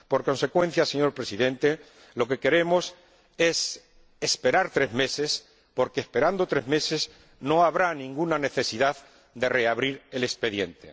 Por consecuencia, señor Presidente, lo que queremos es esperar tres meses, porque esperando tres meses, no habrá ninguna necesidad de reabrir el expediente.